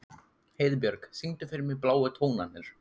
Heiðbjörk, syngdu fyrir mig „Bláu tónarnir“.